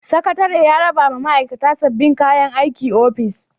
Sakatare ya raba wa ma'aikata sabbin kayan aikin ofis.